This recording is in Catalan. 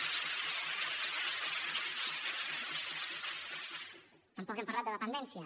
tampoc hem parlat de dependència